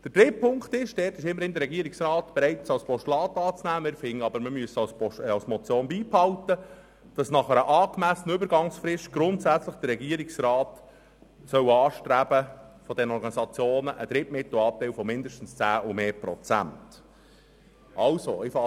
Der dritte Punkt, den der Regierungsrat immerhin als Postulat annehmen will und bei welchem wir aber weiterhin an einer Motion festhalten, verfolgt das Ziel, dass der Regierungsrat nach angemessenen Über angsfristen mittelfristig einen Anteil an Drittmitteln von mindestens 10 Prozent für Organisationen anstreben soll, die im Bereich Gesundheitsför erung und Suchtprävent on Staatsbeiträ e erhalten.